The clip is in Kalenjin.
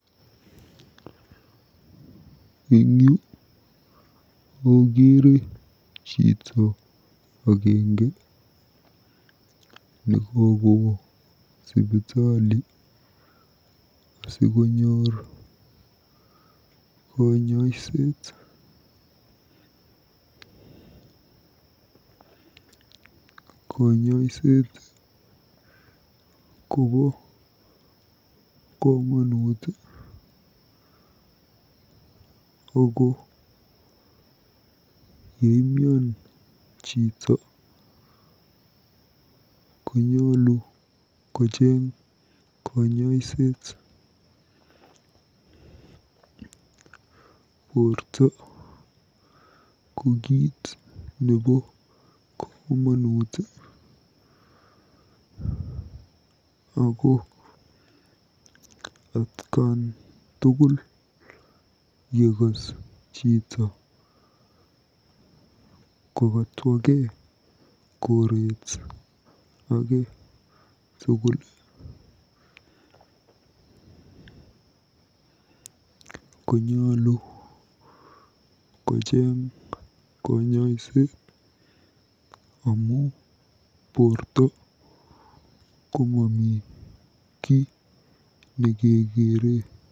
Eng yu akeere chito agenge nekokowo sipitali asikonyor kanyoiset. Kanyoiset kobo komonut ako yeimian chito konyolu kocheng kanyoiset. Borto ko kiit nebo komonut ako atkan tugul yekas chito kokatwakei koreet age tugul konyolu kocheng kanyoiset amu borto ko mami kiy nekekeere.